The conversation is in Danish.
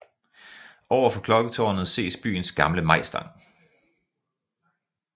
Over for klokketårnet ses byens gamle majstang